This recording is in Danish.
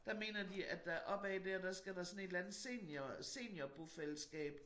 Der mener de at der op ad dér skal der sådan et eller andet senior senior bofællesskab